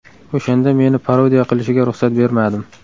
O‘shanda meni parodiya qilishiga ruxsat bermadim.